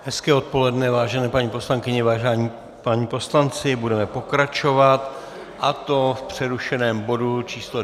Hezké odpoledne, vážené paní poslankyně, vážení páni poslanci, budeme pokračovat, a to v přerušeném bodu číslo